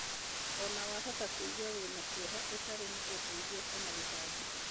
Ona wahota kũigua wĩna kieha, ũtarĩ na ũteithio kana gũtangĩka.